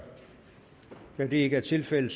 da det ikke er tilfældet